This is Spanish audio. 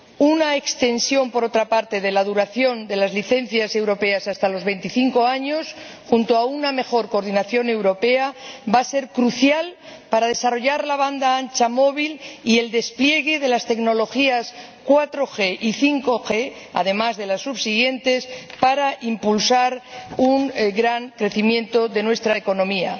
Una ampliación, por otra parte, de la duración de las licencias europeas hasta los veinticinco años, acompañada de una mejor coordinación europea, va a ser crucial para desarrollar la banda ancha móvil y el despliegue de las tecnologías 4G y 5G, además de las subsiguientes, e impulsar así un gran crecimiento de nuestra economía.